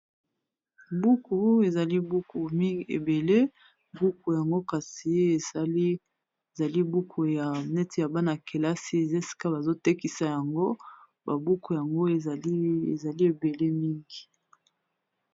buku ezali buku mingi ebele buku yango kasie ezali buku ya neti ya bana kelasi eza esika bazotekisa yango ba buku yango ezali ebele mingi.